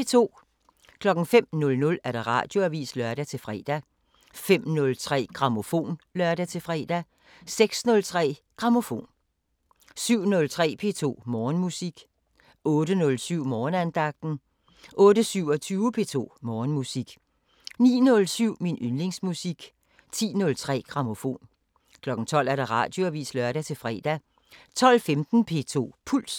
05:00: Radioavisen (lør-fre) 05:03: Grammofon (lør-fre) 06:03: Grammofon 07:03: P2 Morgenmusik 08:07: Morgenandagten 08:27: P2 Morgenmusik 09:07: Min yndlingsmusik 10:03: Grammofon 12:00: Radioavisen (lør-fre) 12:15: P2 Puls